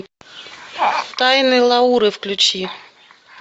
тайны лауры включи